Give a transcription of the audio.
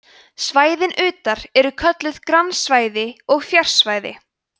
svæðin utar eru kölluð grannsvæði og fjarsvæði